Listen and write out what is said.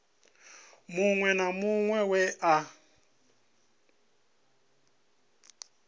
muṅwe na muṅwe we a